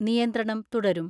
നിയന്ത്രണം തുടരും.